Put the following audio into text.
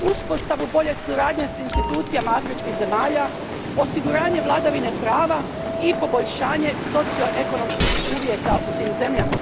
uspostavu bolje suradnje s institucijama afričkih zemalja, osiguranje vladavine prava i poboljšanje socioekonomskih uvjeta u tim zemljama.